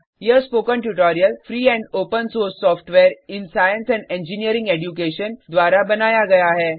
यह spoken tutorial free and open source software in science and engineering education द्वारा बनाया गया है